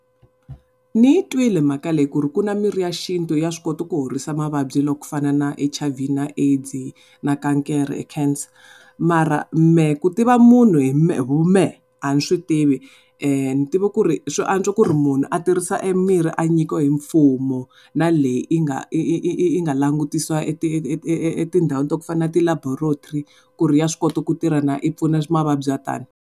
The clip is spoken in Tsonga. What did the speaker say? Ni yi twile mhaka leyi ku ri ku na mirhi ya xintu ya swi koti ku horisa mavabyi yo fana na H_I_V na AIDS na kankere cancer mara mehe ku tiva munhu hi vumehe a ni swi tivi ni tiva ku ri swi antswa ku ri munhu a tirhisa emirhi a nyikiwe hi mfumo na leyi yi nga yi nga langutisiwa etindhawu to fana na ti-laboratory ku ri ya swi kota ku tirha na yi pfuna mavabyi ya tani.